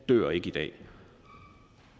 dør i dag